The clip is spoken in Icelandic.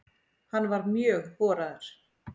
Hann var mjög horaður.